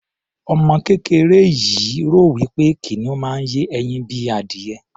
Ọmọ kéreké yìí rò wí pé kìnìún máa ń yé ẹyin bíi adìyẹ.